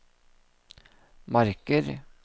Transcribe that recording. marker